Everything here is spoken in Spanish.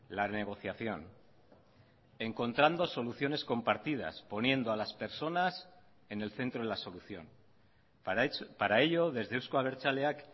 la negociación encontrando soluciones compartidas poniendo a las personas en el centro de la solución para ello desde euzko abertzaleak